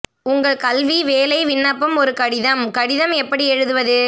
உங்கள் கல்வி வேலை விண்ணப்பம் ஒரு கடிதம் கடிதம் எப்படி எழுதுவது